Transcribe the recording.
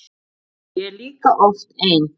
Ég er líka oft ein.